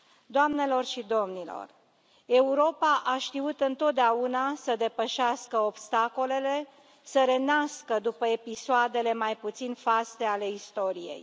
Doamnelor și domnilor, Europa a știut întotdeauna să depășească obstacolele, să renască după episoadele mai puțin faste ale istoriei.